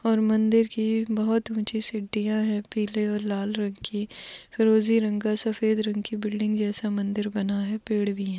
और मंदिर कि बहुत उंची सिडीया है पिले और लाल रंग कि फिरोजी रंग का सफेद रंग कि बिल्डिंग जैसा मंदिर बना है पेड भी है।